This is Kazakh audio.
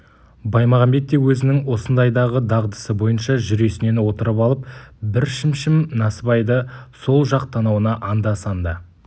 баймағамбет те өзінің осындайдағы дағдысы бойынша жүресінен отырып алып бір шімшім насыбайды сол жақ танауына анда-санда